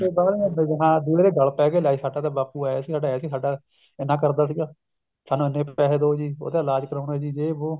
ਫੇਰ ਬਾਅਦ ਮੇ ਹਾਂ ਬੁੜੇ ਦੇ ਗੱਲ ਪਏ ਗਏ ਲੈ ਸਾਡਾ ਤਾਂ ਬਾਪੂ ਐਂ ਸੀ ਸਾਡਾ ਐਂ ਸੀ ਸਾਡਾ ਐਨਾ ਕਰਜਾ ਸੀਗਾ ਸਾਨੂੰ ਇੰਨੇ ਪੈਸੇ ਦੋ ਜੀ ਉਹਦਾ ਇਲਾਜ਼ ਕਰਾਉਣਾ ਜੇ ਵੋ